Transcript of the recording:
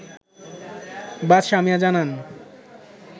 বাদশাহ মিয়া জানান